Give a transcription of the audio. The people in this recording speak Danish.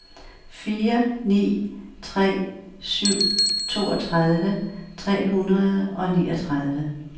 fire ni tre syv toogtredive tre hundrede og niogtredive